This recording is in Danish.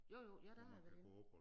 Jo jo ja der har jeg været inde